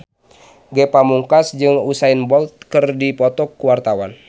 Ge Pamungkas jeung Usain Bolt keur dipoto ku wartawan